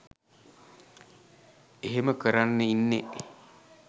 එහෙම කරන්න ඉන්නේ.